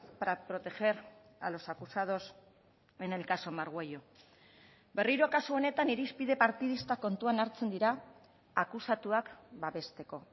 para proteger a los acusados en el caso margüello berriro kasu honetan irizpide partidistak kontuan hartzen dira akusatuak babesteko